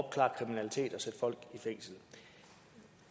sætte folk i fængsel